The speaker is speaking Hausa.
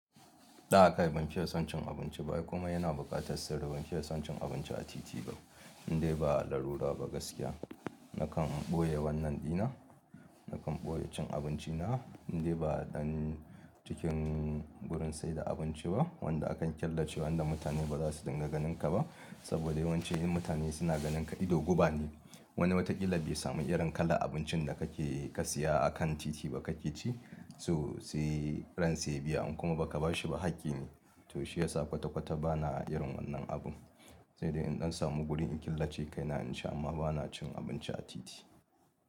Ɗa kai ban fiya son cin abinci ba ai komai yana buƙatar sirri ban fiya son cin abinci a titi ba, indai ba larura ba gaskiya. Nakan ɓoye wannan ɗina, nakan ɓoye cin abinci na inda ba ɗan cikin gurin saida abinci ba wanda akan killace wanda mutane ba za su dinga ganinka ba. Saboda yawanci in mutane suna ganinka ido guba ne. Wani wataƙila zai samu irin kalar abincin da kake ka siya akan titi ba kake ci, sosai ran sa ya biya in kuma baka bashi ba hakki ne. To shi yasa kwata-kwata bana irin wannan abun. Sai dai in ɗan samu gurin in killace kaina in ci amma bana cin abinci a titi.